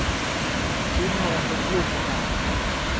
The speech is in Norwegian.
Siden har hun fått blod på tann.